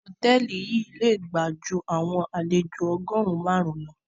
Hotẹẹli yi le gba jú àwọn àlejo ọgọrun màrun lọ.